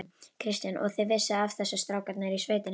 Kristján: Og þið vissuð af þessu, strákarnir í sveitinni?